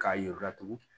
K'a yir'u la tugun